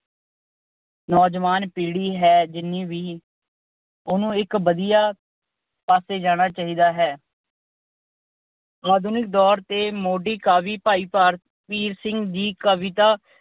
ਨੌਜਵਾਨ ਪੀੜ੍ਹੀ ਹੈ ਜਿੰਨੀ ਵੀ ਉਹਨੂੰ ਇੱਕ ਵਧੀਆ ਪਾਸੇ ਜਾਣਾ ਚਾਹੀਦਾ ਹੈ। ਆਧੁਨਿਕ ਦੌਰ ਦੇ ਮੋਢੀ ਕਵੀ ਭਾਈ ਵੀਰ ਸਿੰਘ ਜੀ ਕਵਿਤਾ